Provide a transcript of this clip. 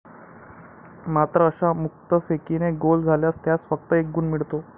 मात्र अशा मुक्तफेकीने गोल झाल्यास त्यास फक्त एक गुण मिळतो.